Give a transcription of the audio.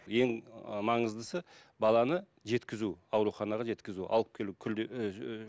ең ы маңыздысы баланы жеткізу ауруханаға жеткізу алып келу